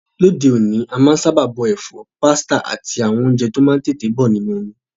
Lóde òní, a má n sábà bọ èfọ́, pasta áti àwon ounje to má n tètè bo nínú omi